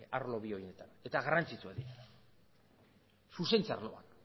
arlo bi horietan eta garrantzitsuak dira zuzentze arloan